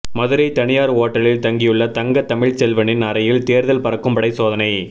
மதுரை தனியார் ஓட்டலில் தங்கியுள்ள தங்க தமிழ் செல்வனின் அறையில் தேர்தல் பறக்கும்படை சோதனை